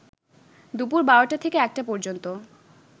দুপুর ১২টা থেকে ১টা পর্যন্ত